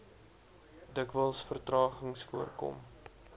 dikwels vertragings voorkom